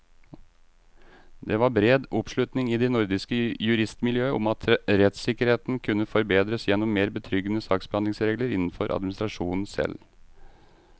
Det var bred oppslutning i det nordiske juristmiljøet om at rettssikkerheten kunne forbedres gjennom mer betryggende saksbehandlingsregler innenfor administrasjonen selv.